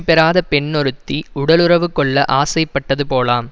பெறாத பெண் ஒருத்தி உடலுறவு கொள்ள ஆசைப்பட்டது போலாம்